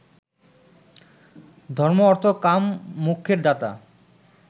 ধর্ম্ম-অর্থ- কাম মোক্ষের দাতা